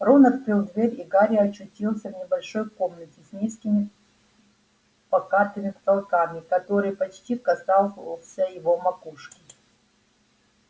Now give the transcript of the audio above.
рон открыл дверь и гарри очутился в небольшой комнате с низким покатыми потолками который почти касался его макушки